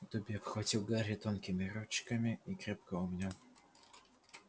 добби обхватил гарри тонкими ручками и крепко обнял